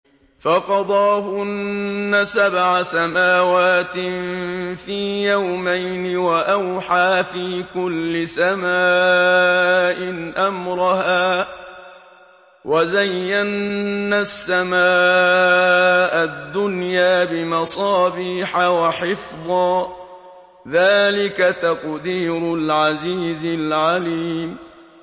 فَقَضَاهُنَّ سَبْعَ سَمَاوَاتٍ فِي يَوْمَيْنِ وَأَوْحَىٰ فِي كُلِّ سَمَاءٍ أَمْرَهَا ۚ وَزَيَّنَّا السَّمَاءَ الدُّنْيَا بِمَصَابِيحَ وَحِفْظًا ۚ ذَٰلِكَ تَقْدِيرُ الْعَزِيزِ الْعَلِيمِ